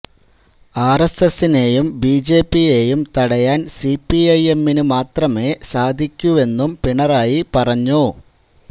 ആര്എസ്എസിനെയും ബിജെപിയെയും തടയാന് സിപിഐ എമ്മിന് മാത്രമേ സാധിക്കുവെന്നും പിണറായി പറഞ്ഞു